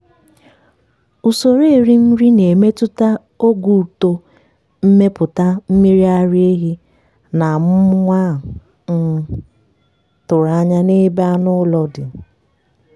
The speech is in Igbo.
usoro erim nri na-emetụta ogo uto mmepụta mmiri ara ehi na amụm nwa a um tụrụ anya n'ebe anụ ụlọ dị.